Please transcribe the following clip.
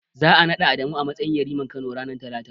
Za'a naɗa Adamu a matsayin yariman Kano, ranar Talata.